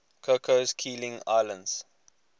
cocos keeling islands